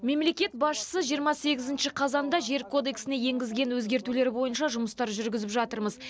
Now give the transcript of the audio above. мемлекет басшысы жиырма сегізінші қазанда жер кодексіне енгізген өзгертулері бойынша жұмыстар жүргізіп жатырмыз